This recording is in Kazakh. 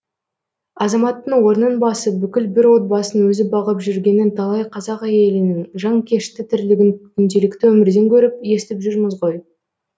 азаматтың орнын басып бүкіл бір отбасын өзі бағып жүргенін талай қазақ әйелінің жанкешті тірлігін күнделікті өмірден көріп естіп жүрміз ғой